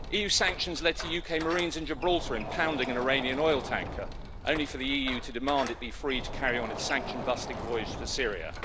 EU sanctions led to UK Marines in Gibraltar impounding an Iranian oil tanker, only for the EU to demand it be freed to carry on its sanction-busting voyage to Syria.